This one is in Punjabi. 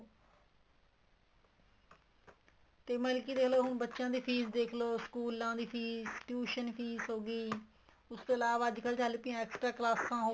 ਤੇ ਮਤਲਬ ਕੀ ਦੇਖਲੋ ਹੁਣ ਬੱਚਿਆ ਦੀ ਫ਼ੀਸ ਦੇਖਲੋ ਸਕੂਲਾਂ ਦੀ ਫ਼ੀਸ tuition ਫ਼ੀਸ ਹੋ ਗਈ ਉਸ ਤੋਂ ਇਲਾਵਾ ਚੱਲ ਪਈਆਂ extra ਕਲਾਸਾਂ ਹੋ ਗਈਆਂ